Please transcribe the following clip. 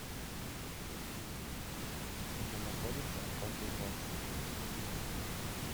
где находится кофе бокс